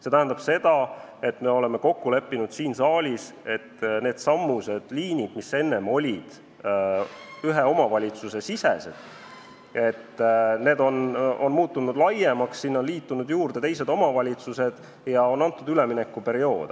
See tähendab seda, et nagu me oleme siin saalis kokku leppinud, needsamad liinid, mis enne olid ühe omavalitsuse sisesed, on muutunud laiemaks, juurde on tulnud teised omavalitsused ja on antud üleminekuaeg.